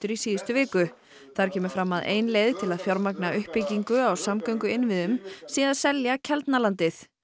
í síðustu viku þar kemur fram að ein leið til að fjármagna uppbyggingu á samgönguinnviðum sé að selja Keldnalandið